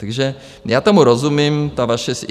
Takže já tomu rozumím, ta vaše...